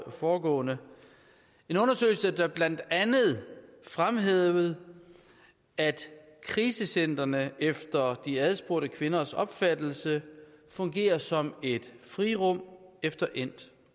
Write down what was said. foregående en undersøgelse der blandt andet fremhævede at krisecentrene efter de adspurgte kvinders opfattelse fungerer som et frirum efter endt